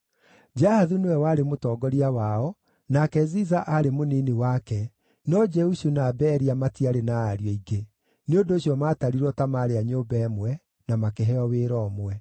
Jahathu nĩwe warĩ mũtongoria wao, nake Ziza aarĩ mũnini wake, no Jeushu na Beria matiarĩ na ariũ aingĩ; nĩ ũndũ ũcio maatarirwo ta maarĩ a nyũmba ĩmwe, na makĩheo wĩra ũmwe.